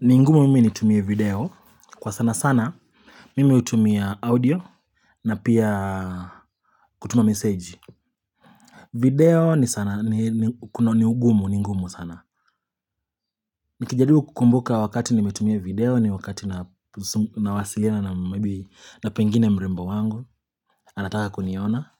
Ni ngumu mimi nitumie video, kwa sana sana, mimi utumia audio, na pia kutuma message. Video ni sana, ni ugumu, ni ngumu sana. Nikijaribu kukumbuka wakati nimetumia video ni wakati nawasilina na maybe na pengine mrembo wangu, anataka kuniona,